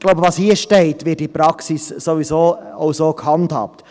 Was hier steht, wird in der Praxis sowieso so gehandhabt.